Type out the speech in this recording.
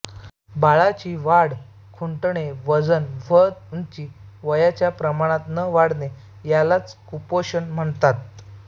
बाळाची वाढ खुंटणे वजन व उंची वयाच्या प्रमाणात ण वाढणे यालाच कुपोषण म्हणतात